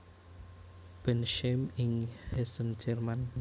Bensheim ing Hessen Jerman